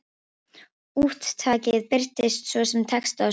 Úttakið birtist svo sem texti á skjánum.